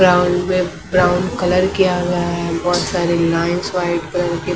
brown में brown colour किया गया है बहुत सारी लाईन्स व्हाईट करके --